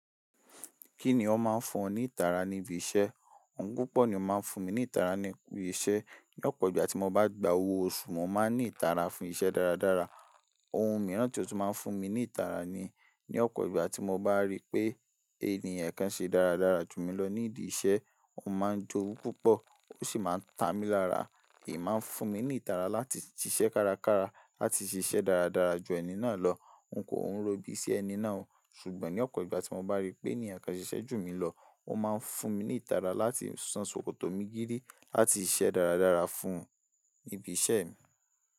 Kí ni ó máa ń fún ọ ní ìtara ní ibi iṣẹ́? Ohun púpọ̀ ni ó máa ń fún mi ní ìtara ní ibi iṣẹ́. Lọ̀pọ̀ ìgbà tí mo bá gba owó oṣù, mo máa ní ìtara fún iṣẹ́ dáradára. Ohun mìíràn tí ó tún máa ń fún mi ní ìtara ni ní ọ̀pọ̀ ìgbà tí mo bá rí pé ènìyàn kan ṣe dáradára jù mí lọ ní ìdí iṣẹ́, mo maa ń jowú púpọ̀ ó sì máa ń ta mí lára èyí máa ń fún mi ní ìtara láti ṣiṣẹ́ kárakára láti ṣiṣẹ́ dáradára ju ẹni náà lọ. N kò ń ro ibi ṣi ẹni náà o, ṣùgbọ́n ní ọ̀pọ̀ ìgbà tí mo bá rí pé ènìyàn kan ṣiṣẹ́ jù mí lọ, ó máa ń fún mi ní ìtara láti san ṣòkòtò mi gidi láti ṣiṣẹ́ dáradára fún ibi iṣẹ́ mi.